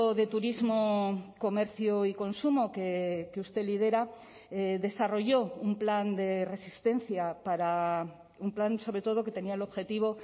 de turismo comercio y consumo que usted lidera desarrolló un plan de resistencia para un plan sobre todo que tenía el objetivo